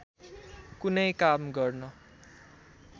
कुनै काम गर्न